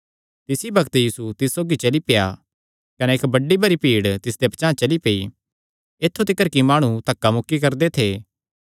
तिसी बग्त यीशु तिस सौगी चली पेआ कने इक्क बड्डी भरी भीड़ तिसदे पचांह़ चली पेई ऐत्थु तिकर कि माणु धक्का मुक्की करदे थे